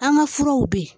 An ka furaw be yen